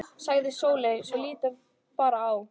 sagði Sóley svo lítið bar á.